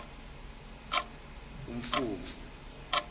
umfumfu